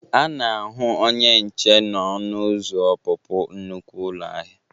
A na-ahụ onye nche n'ọnụ ụzọ ọpụpụ nnukwe ụlọ ahịa.